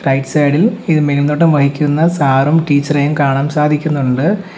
Right side ഇൽ ഇത് മേൽനോട്ടം വഹിക്കുന്ന സാറും ടീച്ചറെയും കാണാൻ സാധിക്കുന്നുണ്ട്.